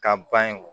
Ka ban in